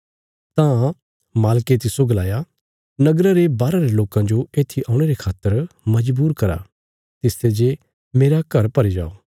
तां मालके तिस्सो गलाया नगरा रे बाहरा रे लोकां जो एत्थी औणे रे खातर मजबूर करा तिसते जे मेरा घर भरी जाओ